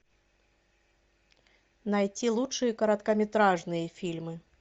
найти лучшие короткометражные фильмы